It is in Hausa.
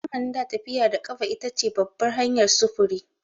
A zamanin da, tafiya da ƙafa ita ce babbar hanyar sufuri.